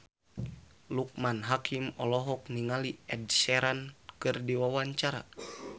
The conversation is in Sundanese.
Loekman Hakim olohok ningali Ed Sheeran keur diwawancara